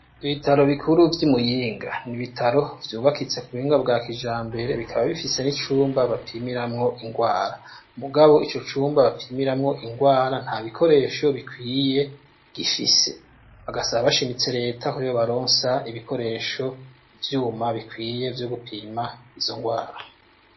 Ibitaro bikuru vy'imuyinga ,ni ibitaro vyubakitse ku buhinga bwa kijambere bikaba bifise n'icumba bapimiramwo ingwara ,mugabo ivyo vyumba bapimiramwo ingwara nta bikoresho bikwiye gifise, bagasaba bashimitse leta ko ibaronsa ibikoresho ivyuma bikwiye vyo gupima izo ngwara.